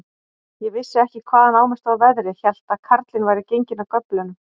Ég vissi ekki, hvaðan á mig stóð veðrið, hélt að karlinn væri genginn af göflunum.